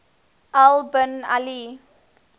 al bin ali